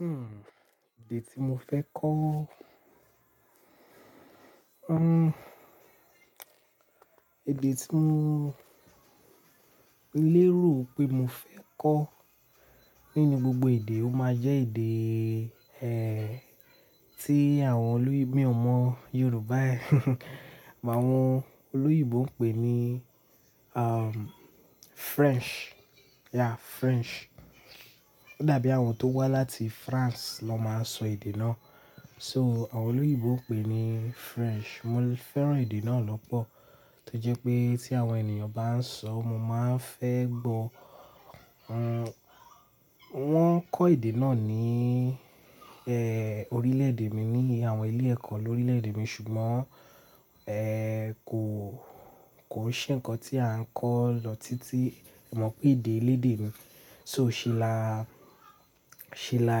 Hmm, èdè tí mo fẹ́ kọ́. Hmm, èdè tí mo lérò pé mo fẹ́ kọ́ nínú gbogbo èdè, ó máa jẹ́ èdè, eh, tí àwọn oloyinbo-- mi ò mọ Yorùbá ẹ́, màáwọn olóyìibo ń pè ní, um, French. Yeah, French. Ó dàbí àwọn tó wá láti France ló máa ń sọ èdè náà. So àwọn olóyìibo ń pè ní French. Mo fẹ́ràn èdè náà lọ́pọ̀, to jẹ́ pé tí àwọn ènìyàn bá ń sọ, mo máa ń fẹ́ gbọ́. Hmm, wọ́n ń kọ́ èdè náà ní, eh, orílè-èdè mi ní àwọn ilé ẹ̀kọ́ lórílè-èdè mi ṣùgbọ́n, eh, kò, kò ṣe ǹkan tí à ń kó lọ títí, ẹ mọ̀ pé èdè elédè mi. So ṣe là, ṣe là,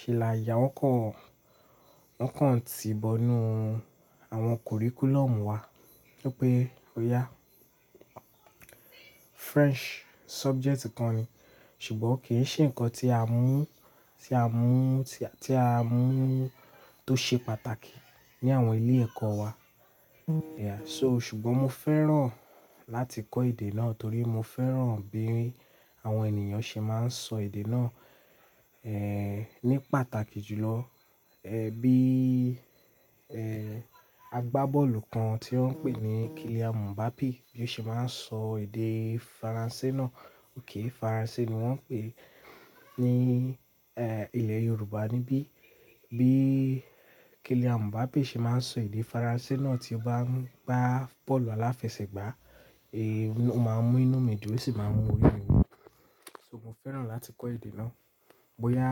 ṣe là yá wọ́n kan, wọ́n kàn tí ìbọnú àwọn kuríkúlọ́mù wá wípé ó ya. French subject kan ni, ṣùgbọ́n kì í ṣe ǹkan tí à ń mú, tí à ń mú, tí à, tí à ń mú tó ṣe pàtàkì ní àwọn ilé ẹ̀kọ́ wa. Yeah, so ṣùgbọ́n mo fẹ́ràn láti kọ́ èdè náà torí mo fẹ́ràn bí àwọn ènìyàn ṣe máa ń sọ èdè náà, eh, ní pàtàkì jù lọ. Eh, bí, eh, àgbábọ́ọ̀lù kan tí wọ́n ń pè ní Kylian Mbappé bí ó ṣe máa ń sọ èdè Faransé náà. Óké Faransé ni wọ́n ń pè ní, eh, ilẹ̀ Yorùbá níbí. Bí Kylian Mbappé ṣe máa ń sọ èdè Faransé náà tí ó bá ń gbá bọ́ọ̀lù aláfẹsẹ̀gbá, eh, ó máa ń mú inú mi dùú, ó sì máa ń mú orí mi wú. So mo fẹ́ràn láti kọ́ èdè náà. Bo ya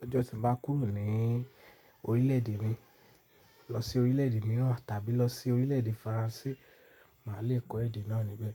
lọ́jọ́ tí mo bá kúrò ní orílè-èdè mi, lọ sí orílè-èdè mìíràn tàbí lọ sí orílè-èdè Faransé, màá le kọ́ èdè náà níbẹ̀.